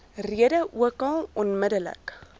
rede ookal onmiddellik